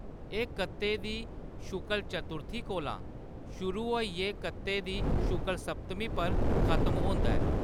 एह्‌‌ कत्ते दी शुक्ल चतुर्थी कोला शुरू होइयै कत्ते दी शुक्ल सप्तमी पर खत्म होंदा ऐ।